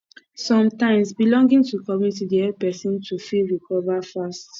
sometimes belonging to community dey help person to fit recover fast